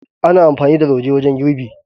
Ana amfani da lauje wajen girbi.